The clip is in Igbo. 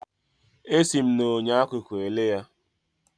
Esi m na enyo akụkụ ele ya.